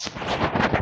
Sanunɛgɛnin yo warinɛ